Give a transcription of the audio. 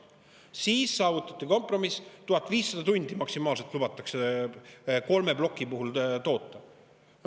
Siis saavutati kompromiss: 1500 tundi maksimaalselt lubatakse kolme plokiga toota.